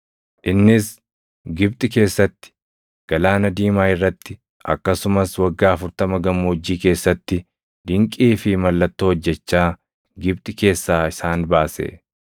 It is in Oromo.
Innis Gibxi keessatti, galaana diimaa irratti akkasumas waggaa 40 gammoojjii keessatti dinqii fi mallattoo hojjechaa Gibxi keessaa isaan baase.